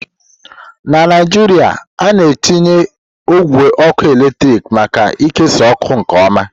Na Naijiria, a na-etinye ogwe ọkụ eletrik maka ikesa ọkụ nke ọma.